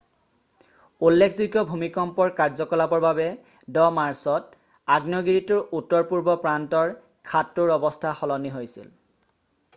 উল্লেখযোগ্য ভূমিকম্পৰ কাৰ্যকলাপৰ বাবে 10 মাৰ্চত আগ্নেয়গিৰিটোৰ উত্তৰপূৰ্ব প্ৰান্তৰ খাদটোৰ অৱস্থা সলনি হৈছিল